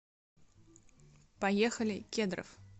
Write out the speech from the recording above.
поехали кедровъ